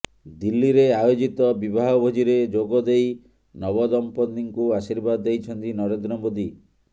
ଦିଲ୍ଲୀରେ ଆୟୋଜିତ ବିବାହ ଭୋଜିରେ ଯୋଗ ଦେଇ ନବ ଦଂପତିଙ୍କୁ ଆଶିର୍ବାଦ ଦେଇଛନ୍ତି ନରେନ୍ଦ୍ର ମୋଦି